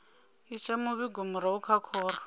isa muvhigo murahu kha khoro